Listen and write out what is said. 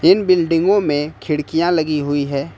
इन बिल्डिंगों में खिड़कियां लगी हुई है।